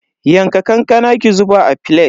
Yanka kankanan ki zuba a filet.